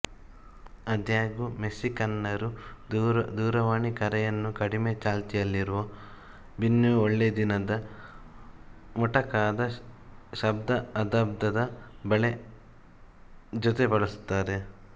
ಆದಾಗ್ಯೂ ಮೆಕ್ಸಿಕನ್ನರು ದೂರವಾಣಿ ಕರೆಯನ್ನು ಕಡಿಮೆ ಚಾಲ್ತಿಯಲ್ಲಿರುವ ಬ್ಯುನೊ ಒಳ್ಳೆ ದಿನ ದ ಮೊಟಕಾದ ಶಬ್ದಅಬ್ದದ ಜೊತೆ ಬಳಸುತ್ತಾರೆ